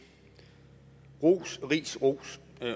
ros ris ros